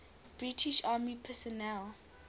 british army personnel